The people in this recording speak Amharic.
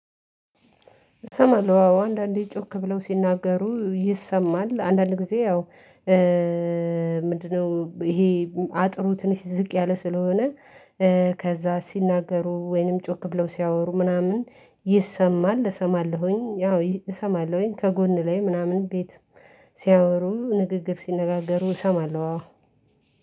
እሰማለሁ አዎ አንዳንዴ ጮክ ብለው ሲናገሩ ይሰማል አንዳንድ ጊዜ ያው። ምንድነው? ይሄ አጥሩ ትንሽ ዝቅ ያለ ስለሆነ። ከዛ ሲናገሩ ወይንም ጮክ ብለው ሲያወሩ ምናምን ይሰማል እሰማለሁኝ ያው እሰማለሁኝ ከጎን ላይ ምናምን ቤት ሲያወሩ ንግግር ሲነጋገሩ እሰማለሁ አዎ።